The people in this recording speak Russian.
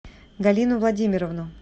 галину владимировну